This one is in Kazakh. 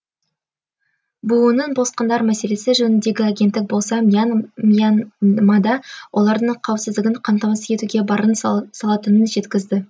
бұұ ның босқындар мәселесі жөніндегі агенттік болса мьянмада олардың қауіпсіздігін қамтамасыз етуге барын салатынын жеткізді